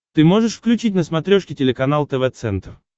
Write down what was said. ты можешь включить на смотрешке телеканал тв центр